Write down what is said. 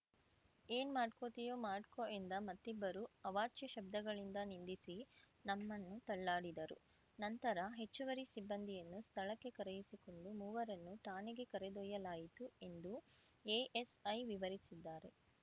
ಏನ್ ಮಾಡ್ಕೋತಿಯೋ ಮಾಡ್ಕೊ ಎಂದ ಮತ್ತಿಬ್ಬರು ಅವಾಚ್ಯ ಶಬ್ಧಗಳಿಂದ ನಿಂದಿಸಿ ನಮ್ಮನ್ನು ತಳ್ಳಾಡಿದರು ನಂತರ ಹೆಚ್ಚುವರಿ ಸಿಬ್ಬಂದಿಯನ್ನು ಸ್ಥಳಕ್ಕೆ ಕರೆಯಿಸಿಕೊಂಡು ಮೂವರನ್ನು ಠಾಣೆಗೆ ಕರೆದೊಯ್ಯಲಾಯಿತು ಎಂದು ಎಎಸ್‌ಐ ವಿವರಿಸಿದ್ದಾರೆ